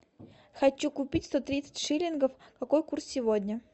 хочу купить сто тридцать шиллингов какой курс сегодня